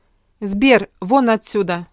сбер вон отсюда